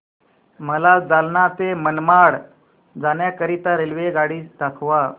मला जालना ते मनमाड जाण्याकरीता रेल्वेगाडी दाखवा